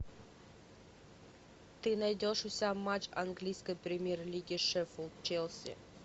ты найдешь у себя матч английской премьер лиги шеффилд челси